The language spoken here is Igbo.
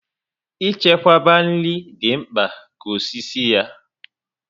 I chekwaba nri dị mkpa ka osisi ya